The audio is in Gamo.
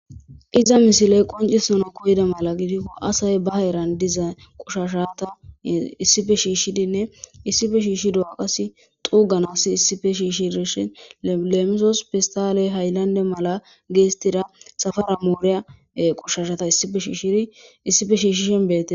iza misiley qoncisanaw koyida mala gidikko asay ba heran diza qoshashata issife shiishshidinne issife shiishidoga qasi xuuganasi issife shiishirishin leemisos pistaley hayllande mala geestida safara mooriya qushashata issife shiishshiri issife shiishishin bette